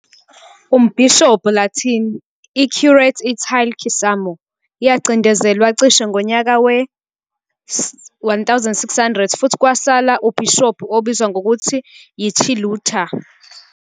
Umbhishobhi Latin, I-Curiate Italian "Cisamo", yacindezelwa cishe ngonyaka we-1600, futhi kwasala ubhishobhi obizwa ngokuthi yi-titular.